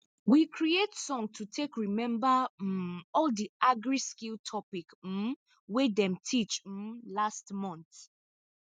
we creat song to take remember um all the agriskill topic um wey dem teach um last month